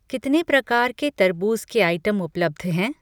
कितने प्रकार के तरबूज़ के आइटम उपलब्ध हैं?